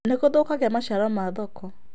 Nĩ gũthũkagia maciaro ma thoko